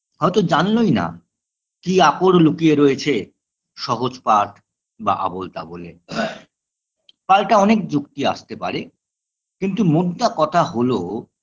হয়তো জানলোইনা কি আকর লুকিয়ে রয়েছে সহজ পাঠ বা আবোলতাবোলে পাল্টা অনেক যুক্তি আসতে পারে কিন্তু মোদ্দা কথা হল